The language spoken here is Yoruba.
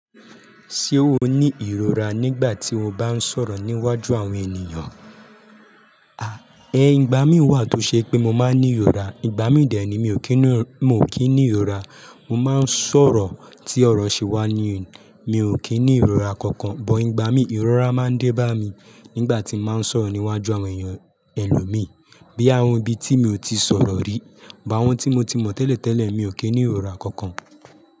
Ṣé o ní ìrora nígbà tí o bá ń sọ̀rọ̀ níwájú àwọn ènìyàn? A, ẹ, ìgbà mí wà tó ṣe pé mo máa ń ní ìrora. Ìgbà mí dè é ni mi ò kí ni, mo kì í ní ìrora. Mo máa ń sọ̀rọ̀ tí ọ̀rọ̀ ṣe wá ní, mi ò kí ní ìrora kankan. But ìgbà mí ìrora máa ń dé bá mi nígbà tí màá ń sọ̀rọ̀ níwájú àwọn ènìyàn ẹlòmíì. Bí àwọn ibi tí mi ò tíì sọ̀rọ̀ rí. But àwọn tí mo ti mọ̀ tẹ́lẹ̀ tẹ́lẹ̀ mi ò kí ní ìrora kankan.